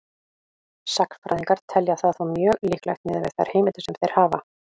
Sagnfræðingar telja það þó mjög líklegt miðað við þær heimildir sem þeir hafa.